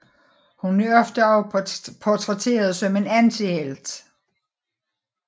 Hun er ofte også portrætteret som en antihelt